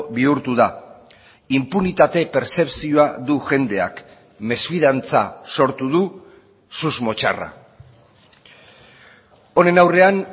bihurtu da inpunitate pertzepzioa du jendeak mesfidantza sortu du susmo txarra honen aurrean